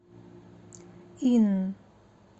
инн